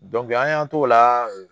an y'an t'o la